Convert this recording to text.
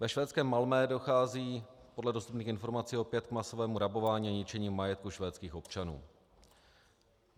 Ve švédském Malmö dochází podle dostupných informací opět k masovému rabování a ničení majetku švédských občanů.